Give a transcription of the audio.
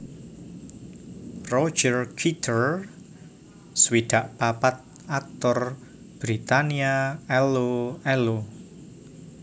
Roger Kitter swidak papat aktor Britania Allo Allo